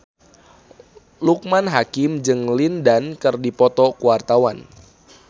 Loekman Hakim jeung Lin Dan keur dipoto ku wartawan